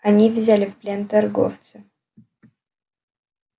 они взяли в плен торговца